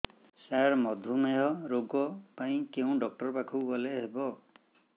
ସାର ମଧୁମେହ ରୋଗ ପାଇଁ କେଉଁ ଡକ୍ଟର ପାଖକୁ ଗଲେ ଭଲ ହେବ